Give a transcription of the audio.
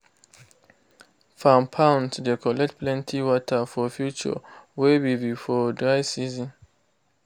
farm ponds de collect plenty water for future wey be for dry season.